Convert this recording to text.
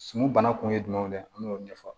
Suman bana kun ye jumɛn ye an b'o ɲɛfɔ